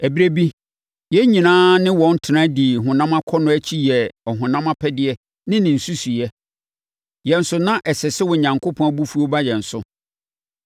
Ɛberɛ bi, yɛn nyinaa ne wɔn tena dii honam akɔnnɔ akyi yɛɛ ɔhonam apɛdeɛ ne ne nsusuiɛ. Yɛn nso na ɛsɛ sɛ Onyankopɔn abufuo ba yɛn so.